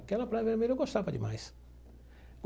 Aquela Praia Vermelha eu gostava demais.